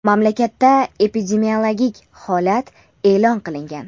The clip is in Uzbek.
Mamlakatda epidemiologik holat e’lon qilingan.